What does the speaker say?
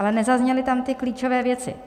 Ale nezazněly tam ty klíčové věci.